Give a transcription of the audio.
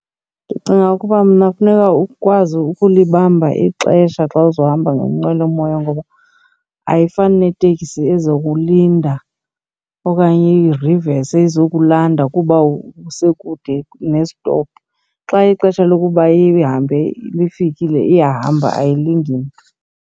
Ndicinga ukuba mna funeka ukwazi ukulibamba ixesha xa uzohamba ngenqwelomoya. Ngoba ayifani neteksi ezokulinda okanye irivese izokulanda kuba usekude kunesitophu.. Xa ixesha lokuba ihambe lifikile iyahamba ayilindi mntu.